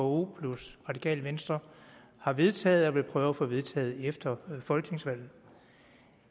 vko plus radikale venstre har vedtaget at ville prøve at få vedtaget efter folketingsvalget